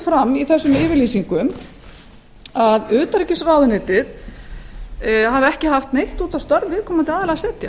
fram að utanríkisráðuneytið hafi ekki haft neitt út á vinnu forstjórans að setja